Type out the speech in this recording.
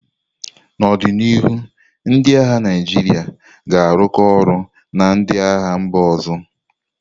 N'ọdịnihu, ndị agha Naijiria ga-arụkọ ọrụ na ndị agha mba ọzọ.